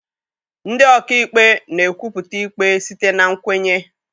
Ndị ọ ka ikpe na-ekwupụta ikpe site na nkwenye.